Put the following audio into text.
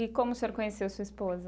E como o senhor conheceu sua esposa?